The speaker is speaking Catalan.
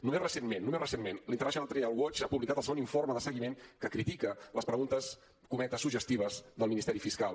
només recentment només recentment l’international trial watch ha publicat el segon informe de seguiment que critica les preguntes cometes suggestives del ministeri fiscal